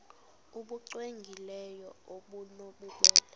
nbu cwengileyo obunobubele